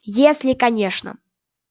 если конечно